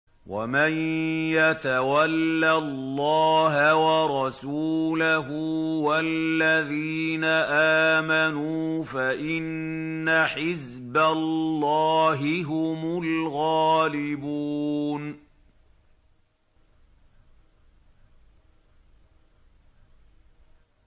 وَمَن يَتَوَلَّ اللَّهَ وَرَسُولَهُ وَالَّذِينَ آمَنُوا فَإِنَّ حِزْبَ اللَّهِ هُمُ الْغَالِبُونَ